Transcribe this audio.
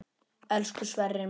Elsku Sverrir minn.